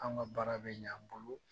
Anw ka baara bɛ ɲɛ an bolo